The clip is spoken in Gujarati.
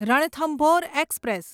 રણથંભોર એક્સપ્રેસ